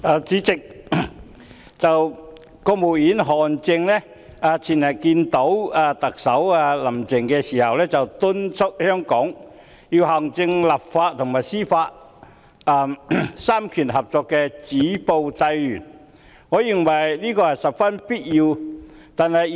主席，國務院副總理韓正前天會見特首林鄭月娥時，敦促香港要行政、立法和司法三權合作止暴制亂，我認為這是十分必要的。